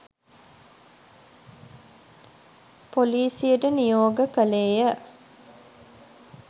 පොලිසියට නියෝග කළේය.